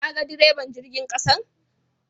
Kaga deriban jirgin ƙasan?